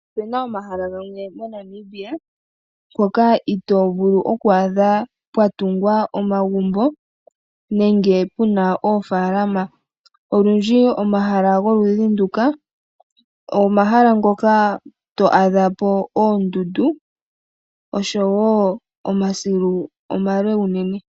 Opuna omahala gamwe moNamibia itovulu okuadha pwatungwa omagumbo nenge puna oofalama. Olundji omahala goludhi nduka omahala ngoka to adhapo ondundu nomasilu omale unene.